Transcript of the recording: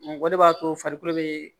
o de b'a to farikolo bee